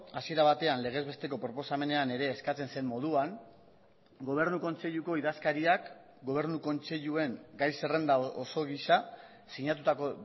hasiera batean legez besteko proposamenean ere eskatzen zen moduan gobernu kontseiluko idazkariak gobernu kontseiluen gai zerrenda oso gisa sinatutako